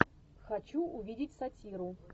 хочу увидеть сатиру